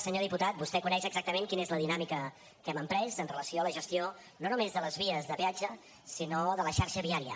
senyor diputat vostè coneix exactament quina és la dinàmica que hem emprès amb relació a la gestió no només de les vies de peatge sinó de la xarxa viària